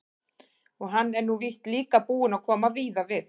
Og hann er nú víst líka búinn að koma víða við.